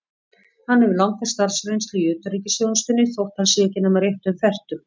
Hann hefur langa starfsreynslu í utanríkisþjónustunni, þótt hann sé ekki nema rétt um fertugt.